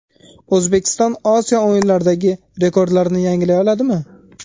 O‘zbekiston Osiyo o‘yinlaridagi rekordlarini yangilay oladimi?.